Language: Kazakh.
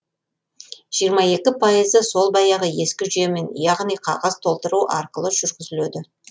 жиырма екі пайызы сол баяғы ескі жүйемен яғни қағаз толтыру арқылы жүргізіледі